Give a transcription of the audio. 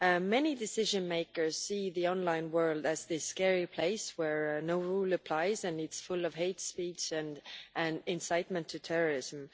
Many decision makers see the online world as this scary place where no rule applies and it is full of hate speech and an incitement to terrorism.